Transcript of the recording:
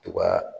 To ga